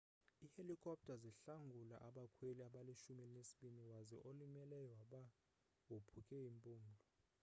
ihelikopter zihlangule abakhweli abalishumi elinesibini waze olimeleyo waba wophuke impumlo